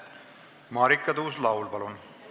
Marika Tuus-Laul, palun!